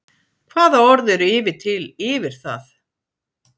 Hvaða orð eru yfir til yfir það?